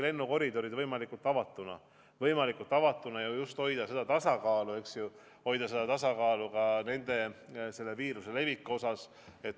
Oleme püüdnud hoida ikkagi lennukoridorid võimalikult avatuna, hoida seda tasakaalu vaatamata viiruse levikule.